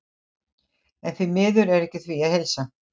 En því miður er ekki því að heilsa.